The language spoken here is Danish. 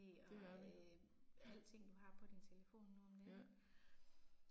Det er vi, ja. Ja